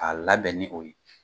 A labɛn ni o ye.